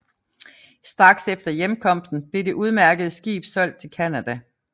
Straks efter hjemkomsten blev det udmærkede skib solgt til Canada